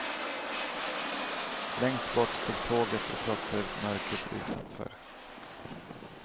Längst bort stod tåget och trotsade mörkret utanför.